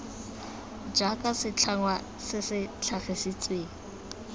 jaaka setlhangwa se se tlhagisitsweng